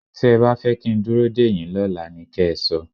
Tí ẹ bá fẹ́ kí n dúró dèyín lọ́la ni kẹ́ ẹ sọ.